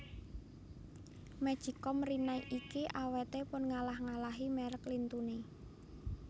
Magic com Rinnai niki awete pun ngalah ngalahi merk lintune